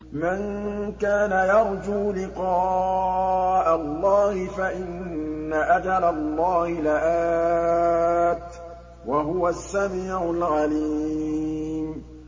مَن كَانَ يَرْجُو لِقَاءَ اللَّهِ فَإِنَّ أَجَلَ اللَّهِ لَآتٍ ۚ وَهُوَ السَّمِيعُ الْعَلِيمُ